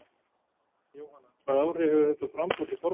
Jóhanna: Hvaða áhrif hefur þetta á framboð til formanns?